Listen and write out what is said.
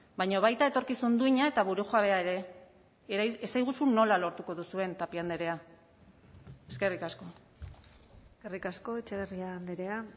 baina baita etorkizun duina eta burujabea ere esaiguzu nola lortuko duzuen tapia andrea eskerrik asko eskerrik asko etxebarria andrea